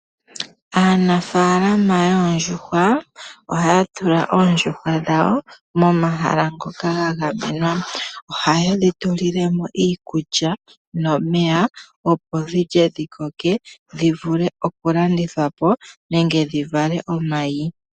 Aanafaalama yoondjuhwa ohaya tula oondjuhwa dhawo momahala ngoka haye dhi tulilemo iikulya nomeya opo dhilye dhi koke dhi vuie okulandithwapo nenge dhi vale omayi.